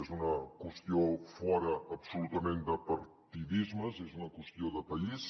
és una qüestió fora absolutament de partidismes és una qüestió de país